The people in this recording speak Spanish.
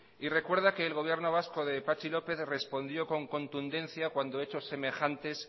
y recuerda que el gobierno vasco de patxi lópez respondió con contundencia cuando hechos semejantes